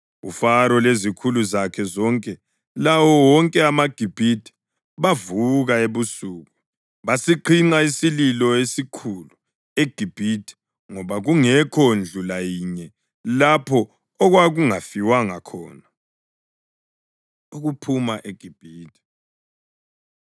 UFaro lezikhulu zakhe zonke lawo wonke amaGibhithe bavuka ebusuku basiqhinqa isililo esikhulu eGibhithe ngoba kungekho ndlu layinye lapho okwakungafiwanga khona. Ukuphuma EGibhithe